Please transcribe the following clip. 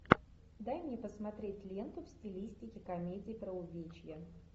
дай мне посмотреть ленту в стилистике комедии про увечья